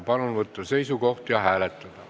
Palun võtta seisukoht ja hääletada!